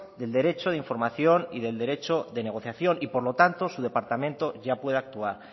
del derecho de información y del derecho de negociación y por lo tanto su departamento ya puede actuar